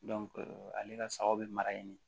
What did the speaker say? ale ka sagaw bɛ mara yen